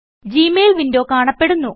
G mail window കാണപ്പെടുന്നു